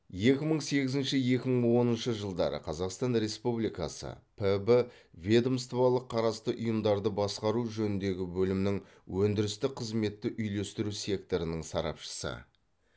екі мың сегізінші екі мың оныншы жылдары қазақстан республикасы піб ведомстволық қарасты ұйымдарды басқару жөніндегі бөлімнің өндірістік қызметті үйлестіру секторының сарапшысы